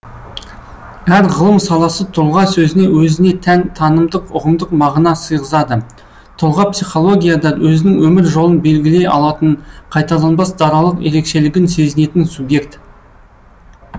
әр ғылым саласы тұлға сөзіне өзіне тән танымдық ұғымдық мағына сыйғызады тұлға психологияда өзінің өмір жолын белгілей алатын қайталанбас даралық ерекшелігін сезінетін субъект